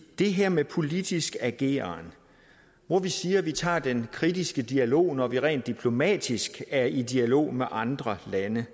det her med politisk ageren hvor vi siger at vi tager den kritiske dialog når vi rent diplomatisk er i dialog med andre lande